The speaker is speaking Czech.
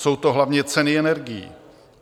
Jsou to hlavně ceny energií.